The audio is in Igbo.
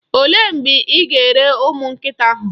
Olee mgbe ị ga-ere ụmụ nkịta ahụ?